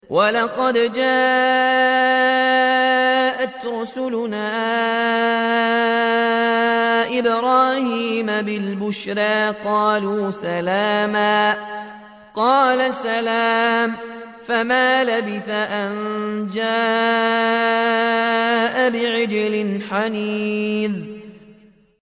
وَلَقَدْ جَاءَتْ رُسُلُنَا إِبْرَاهِيمَ بِالْبُشْرَىٰ قَالُوا سَلَامًا ۖ قَالَ سَلَامٌ ۖ فَمَا لَبِثَ أَن جَاءَ بِعِجْلٍ حَنِيذٍ